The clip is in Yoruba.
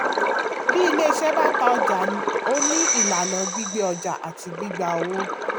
bí ilé iṣẹ́ bá ta ọjà ó ní ìlànà gbígbé ọjà àti gbígba owó.